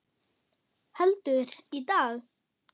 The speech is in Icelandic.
Heldur, í dag!